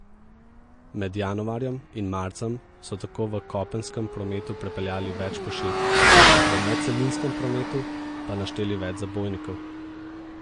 Med januarjem in marcem so tako v kopenskem prometu prepeljali več pošiljk, v medcelinskem prometu pa našteli več zabojnikov.